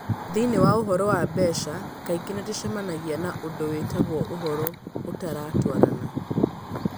Thĩinĩ wa ũhoro wa mbeca, kaingĩ nĩ tũcemanagia na ũndũ wĩtagwo ũhoro ũtaratwarana.